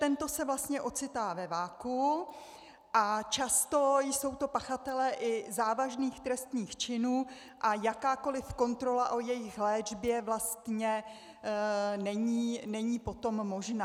Tento se vlastně ocitá ve vakuu a často jsou to pachatelé i závažných trestných činů a jakákoliv kontrola o jejich léčbě vlastně není potom možná.